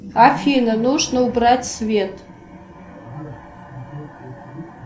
афина нужно убрать свет